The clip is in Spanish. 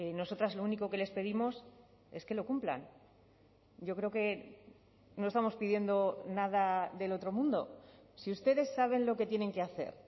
nosotras lo único que les pedimos es que lo cumplan yo creo que no estamos pidiendo nada del otro mundo si ustedes saben lo que tienen que hacer